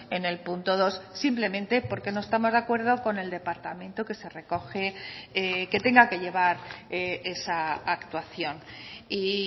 en el punto dos simplemente porque no estamos de acuerdo con el departamento que se recoge que tenga que llevar esa actuación y